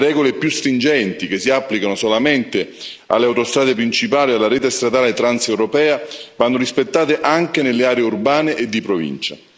Le regole più stringenti, che si applicano solamente alle autostrade principali e alla rete stradale transeuropea, vanno rispettate anche nelle aree urbane e di provincia.